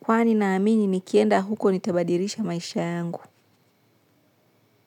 kwani naamini nikienda huko nitabadilisha maisha yangu.